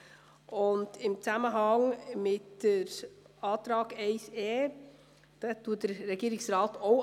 Auch den Antrag 1e lehnt der Regierungsrat ab.